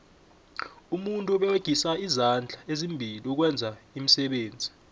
umuntu uberegisa izandla ezimbili ukwenza iimisebenzi